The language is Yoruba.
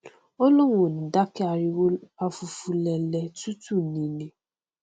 ó lóun ò ní dákẹ ariwo afufulẹlẹ tútù nini